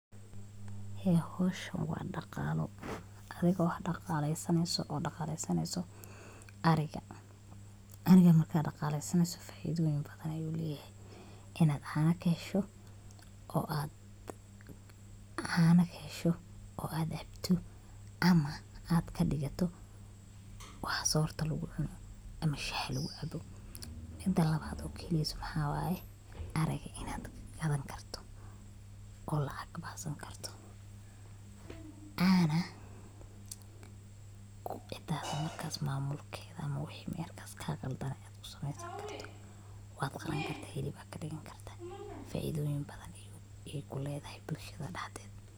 Ee howshan waa dhaqaalo, aniga wax dhaqaaleysaneyso oo dhaqaaleysaneyso ariga, ariga marka dhaqaleysaneyso faa'iidoyin badan ayuu leyahay inad caana kahesho oo ad cabto, ama ad kadhigato waxa soorta lugu cuno ama shaha lugu caabo, mida labad oo keneyso maxa waye ariga inad gadan karto oo lacag kabaxsan karto ana intas markas maamulkeda ama wixi markas kaa qaldanay ad kusameysan karto, wad qalan karta hilib ad kadhigan karta, faa'iidoyin badan ayay kuledahay bulshada dhaxdeeda